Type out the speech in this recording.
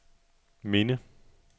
minde